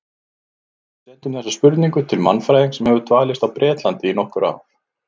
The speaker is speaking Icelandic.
Við sendum þessa spurningu til mannfræðings sem hefur dvalist á Bretlandi í nokkur ár.